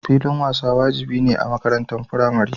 Filin wasa wajibi ne a makarantun Firamare.